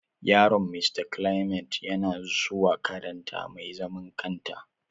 Yaron Mista Clement yana suwa makaranta mai zaman kanta.